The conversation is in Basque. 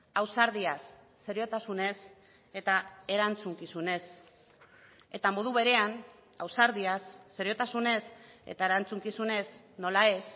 ausardiaz seriotasunez eta erantzukizunez eta modu berean ausardiaz seriotasunez eta erantzukizunez nola ez